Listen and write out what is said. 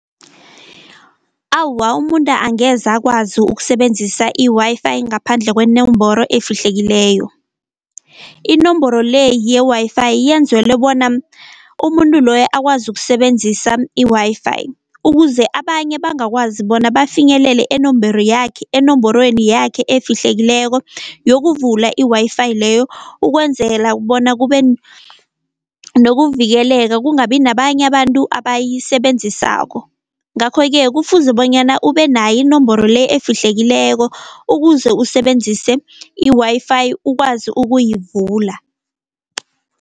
Awa umuntu angeze akwazi ukusebenzisa i-Wi-Fi ngaphandle kwenomboro efihlekileyo. Inomboro le ye-Wi-Fi yenzelwe bona umuntu loyo akwazi ukusebenzisa i-Wi-Fi, ukuze abanye bangakwazi bona bafinyelele enomboro yakhe, enomborweni yakhe efihlekileko yokuvula i-Wi-Fi leyo, ukwenzela bona kube nokuvikeleka kungabi nababanye abantu abayisebenzisako. Ngakho-ke kufuze bonyana ube nayo inomboro le efihlekileko ukuze usebenzise i-Wi-Fi ukwazi ukuyivula.